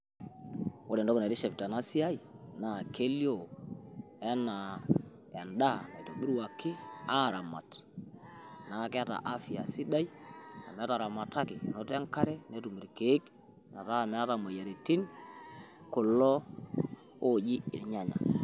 Ore entoki naitiship tena siaai naa kelioo enaa endaa eitobiruaki aaramat neeku keeta afya sidai amu etaramataki enoto enkare, netum irkeek metaa meeta imoyiaritin kulo ooji irnyanya.